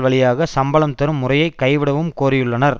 வழியாக சம்பளம் தரும் முறையை கைவிடவும் கோரியுள்ளனர்